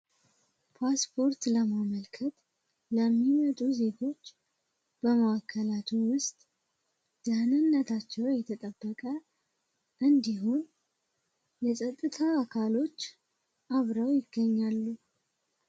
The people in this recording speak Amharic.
ፓስፖርት ለማመልከት ድህነታቸው የተጠበቀ እንዲሁም የፀጥታ አካሎች አብረው ይገኛሉ